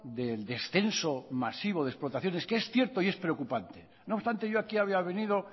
del descenso masivo de explotaciones que es cierto y es preocupante no obstante yo aquí había venido